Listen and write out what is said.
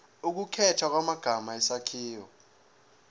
ukukhethwa kwamagama isakhiwo